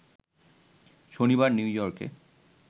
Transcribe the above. শনিবার নিউ ইয়র্কে